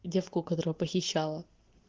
и девку которая похищала